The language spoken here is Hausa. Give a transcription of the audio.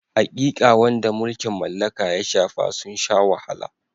Haƙiƙa, waɗanda mulkin mallaka ya shafe sun sha wahala.